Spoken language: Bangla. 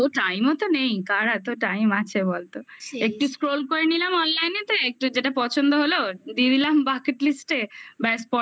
তোর time ও তো নেই কার এত time আছে বলতো একটু scroll করে নিলাম online তো একটু যেটা পছন্দ হলো দিয়ে দিলাম bucket list